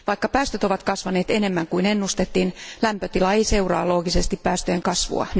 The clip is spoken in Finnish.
Vaikka päästöt ovat kasvaneet enemmän kuin ennustettiin, lämpötila ei nyt seuraa loogisesti päästöjen kasvua.